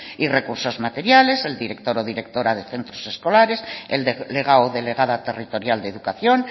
y recursos materiales el director o directora de centros escolares el delegado o delegada territorial de educación